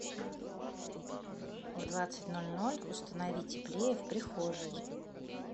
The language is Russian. в двадцать ноль ноль установи теплее в прихожей